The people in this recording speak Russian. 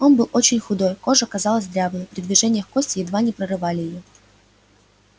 он был очень худой кожа казалась дряблой при движениях кости едва не прорывали её